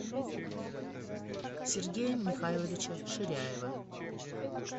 сергея михайловича ширяева